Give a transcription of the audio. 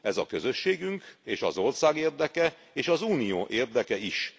Ez a Közösségünk és az ország érdeke és az Unió érdekei is.